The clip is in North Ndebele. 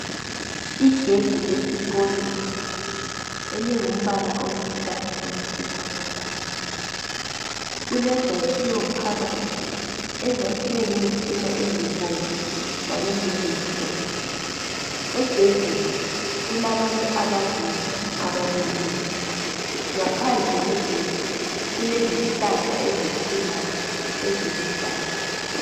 Igedi lesikolweni elingumbala oluhlaza okwesibhakabhaka kulezakhiwe phakathi ezakhiwe ngezintina ezibomvu kanye lezimhlophe . Egedini kulabantu ababili abamileyo. Ngaphandle kwegedi kulezihlahla ezikhulayo eziluhlaza.